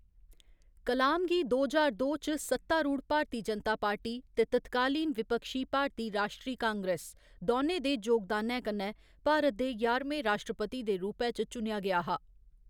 कलाम गी दो ज्हार दो च सत्तारूढ़ भारती जनता पार्टी ते तत्कालीन विपक्षी भारती राश्ट्री कांग्रेस दौनें दे जोगदानै कन्नै भारत दे ञारमें राश्ट्रपति दे रूपै च चुनेआ गेआ हा।